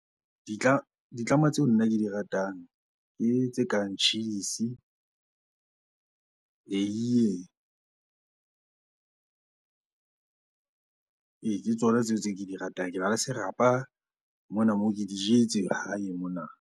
Ditlama tseo nna ke di ratang ke tse kang tjhisi, eiye. Ee, ke tsona tseo tse ke di ratang. Kena le serapa mona moo, ke di jetse hae mona.